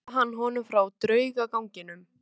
Svo sagði hann honum frá draugaganginum.